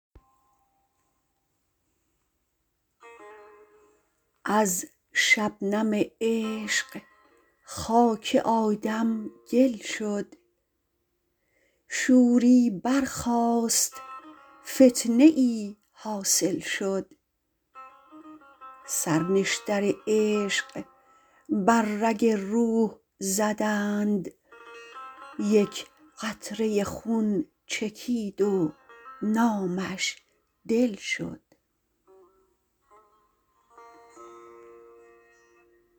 از شبنم عشق خاک آدم گل شد شوری برخاست فتنه ای حاصل شد سر نشتر عشق بر رگ روح زدند یک قطره خون چکید و نامش دل شد